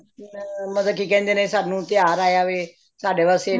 ਹੁਣ ਮਤਲਬ ਕੀ ਕਹਿੰਦੇ ਨੇ ਸਾਨੂੰ ਤਿਉਹਾਰ ਆਇਆ ਵੇ ਸਾਡੇ ਵਾਸਤੇ